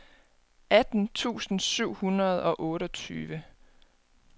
atten tusind syv hundrede og otteogtyve